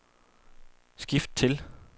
skift til